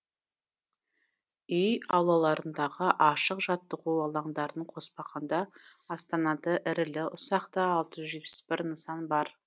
үй аулаларындағы ашық жаттығу алаңдарын қоспағанда астанада ірілі ұсақты алты жүз жетпіс бір нысан бар